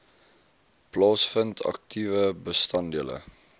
plaasvind aktiewe bestanddele